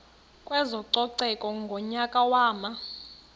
kwezococeko ngonyaka wama